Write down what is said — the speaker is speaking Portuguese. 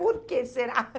Por que será?